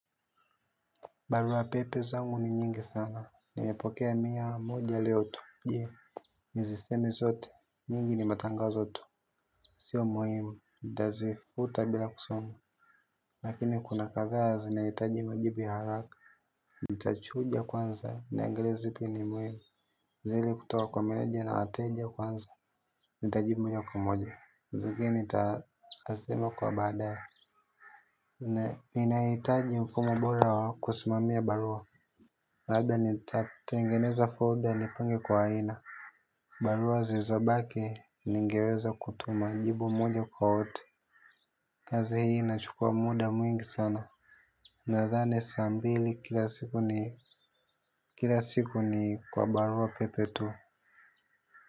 Barua pepe zangu ni nyingi sana, nimepokea miya moja leo tu, jee nizisemi zote, nyingi ni matangazo tu. Sio muhimu, ntazifuta bira kusom. Lakini kuna kathaa zinaitaji majibu ya haraka, ntachuja kwanza, nianglie ziipi ni muhimu. Zili kutoka kwa meneja na wateja kwanza, ntajibu moja kwa moja, zigini tayarii itasema kwa badaya ne. Na inaitaji mfumo bora wa kusimamia barua. Labda ni tatengeneza folder ni pange kwa aina. Barua zizobake ningeweza kutuma jibu mwenye kwa wote. Kazi hii nachukua muda mwingi sana. Nadhane sambil ikila siku kila siku ni kwa barua pepe tu.